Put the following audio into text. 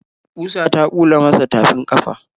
Ƙusa ta bula masa tafin ƙafa.